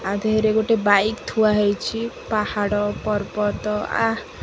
ୟା ଦେହରେ ଗୋଟେ ବାଇକ୍ ଥୁଆଯାଇଚି ପାହାଡ଼ ପର୍ବତ ଆଃ --